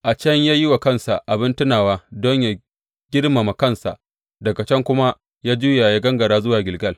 A can ya yi wa kansa abin tunawa don yă girmama kansa, daga can kuma ya juya ya gangara zuwa Gilgal.